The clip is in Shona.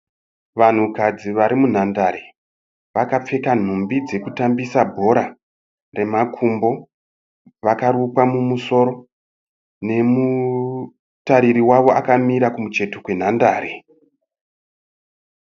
Vanhukadzi vari munhandare vakapfeka nhumbi dzekutambisa bhora remakumbo. Vakarukwa mumusoro. Nemutariri wavo akamira kucheto kwenhandare.